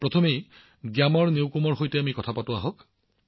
প্ৰথমে গ্যামাৰ ন্যুকুমজী সৈতে কথা পাতোঁ আহক